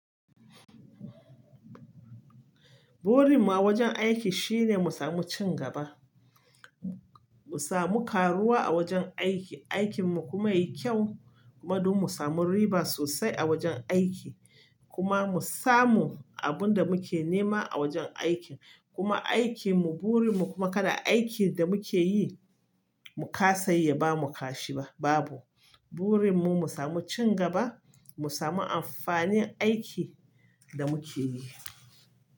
Burin mu a wajen aiki shine mu samu cin gaba, mu samu karuwa a wajen aiki, aikin mu kuma yayi kyau, madub mu samu riba sosai a wajen aiki kuma mu samu abun da muke nema a wajen aikin kuma aikin mu burin mu kuma kada aikin da muke yi mu kasayi ya bamu kashi ba, babu. Burin mu mu samu cin gaba, mu samu amfanin aikin da muke yi.